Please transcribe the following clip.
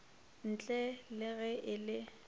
ntle le ge e le